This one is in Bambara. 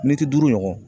Mɛtiri duuru ɲɔgɔn